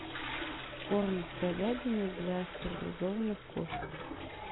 корм с говядиной для стерилизованных кошек